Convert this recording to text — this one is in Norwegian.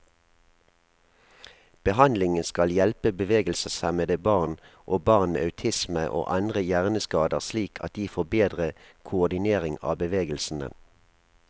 Behandlingen skal hjelpe bevegelseshemmede barn, og barn med autisme og andre hjerneskader slik at de får bedre koordinering av bevegelsene.